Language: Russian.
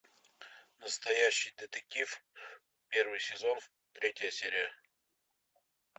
настоящий детектив первый сезон третья серия